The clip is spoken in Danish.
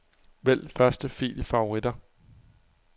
Vælg første fil i favoritter.